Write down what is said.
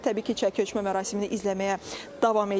Təbii ki, çəki ölçmə mərasimini izləməyə davam eləyirik.